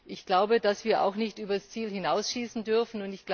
Ich glaube, dass wir nicht übers Ziel hinausschießen dürfen.